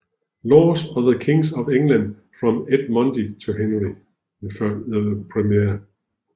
Laws of the Kings of England from Edmund to Henry I